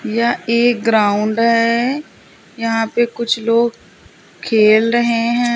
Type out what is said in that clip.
यह एक ग्राउंड है यहां पे कुछ लोग खेल रहे हैं।